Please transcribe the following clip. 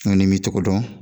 N'i m'i cogo dɔn